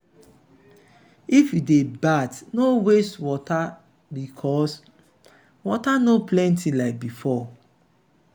if you dey bath no waste water because water no plenty like before.